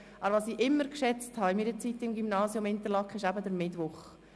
Was ich zu meiner Zeit in Interlaken immer schätzte, war der Mittwoch.